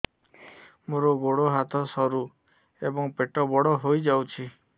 ମୋର ଗୋଡ ହାତ ସରୁ ଏବଂ ପେଟ ବଡ଼ ହୋଇଯାଇଛି